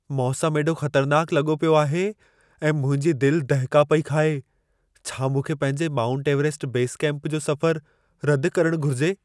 मौसम एॾो ख़तरनाक लॻो पियो आहे ऐं मुंहिंजी दिल दहिका पई खाए। छा मूंखे पंहिंजे माउंट एवरेस्ट बेस कैंप जो सफ़रु रदि करणु घुर्जे?